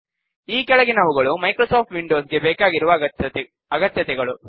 ಈ ಕೆಳಗಿನವುಗಳು Microsoft Windows ಗೆ ಬೇಕಾಗಿರುವ ಅಗತ್ಯತೆಗಳು